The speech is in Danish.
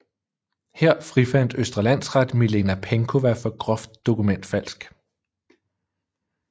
Her frifandt Østre Landsret Milena Penkowa for groft dokumentfalsk